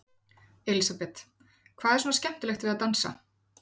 Elísabet: Hvað er svona skemmtilegt við að dansa?